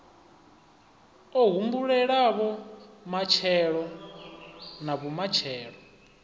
o humbulelavho matshelo na vhumatshelo